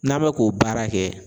N'a bɛ k'o baara kɛ.